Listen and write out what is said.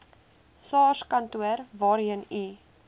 sarskantoor waarheen u